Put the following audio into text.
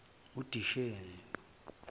disheni